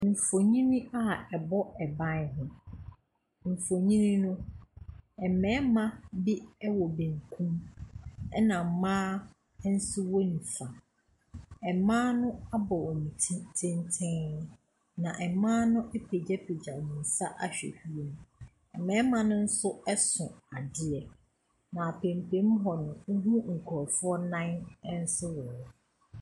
Mfonin a ɛbɔ ban ho. Mfonin no mmarima bi wɔ benkum, ɛna mmaa nso wɔ nifa. Mmaa no abɔ wɔn ti tenten, na mmaa no apagyapagya wɔn nsa ahwɛ wiem. Mmarima no nso so ade, na apampam hɔ no, wohunu nkurɔfoɔ nan nso wɔ hɔ.